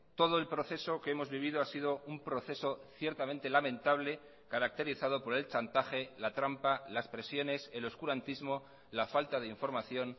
todo el proceso que hemos vivido ha sido un proceso ciertamente lamentable caracterizado por el chantaje la trampa las presiones el oscurantismo la falta de información